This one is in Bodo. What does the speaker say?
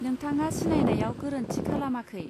नोंथाङा सिनायनायाव गोरोन्थि खालामाखै